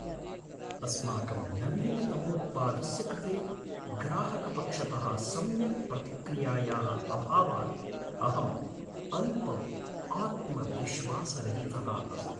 अस्माकं नवीनतमोत्पादस्य कृते ग्राहकपक्षतः सम्यक् प्रतिक्रियायाः अभावात् अहम् अल्पम् आत्मविश्वासरहितः अस्मि।